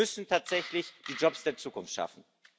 Wir müssen tatsächlich die Jobs der Zukunft schaffen.